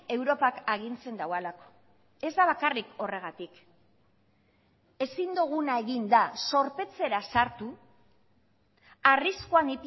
europak agintzen duelako ez da bakarrik horregatik ezin duguna egin da zorpetzera sartu arriskuan